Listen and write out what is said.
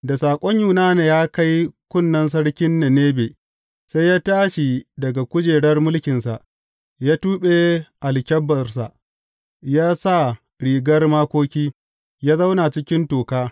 Da saƙon Yunana ya kai kunnen sarkin Ninebe, sai ya tashi daga kujerar mulkinsa, ya tuɓe alkyabbarsa, ya sa rigar makoki, ya zauna cikin toka.